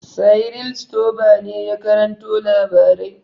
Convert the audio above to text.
Cyril Stober ne ya karanto labarai.